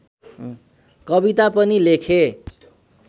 कविता पनि लेखे